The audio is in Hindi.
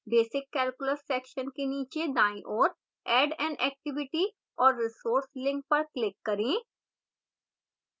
basic calculus section के नीचे दाईं ओर add an activity or resource link पर click करें